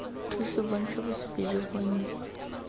thuso bontsha bosupi jo bonnye